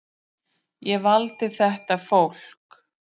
Ég valdi þetta fólk.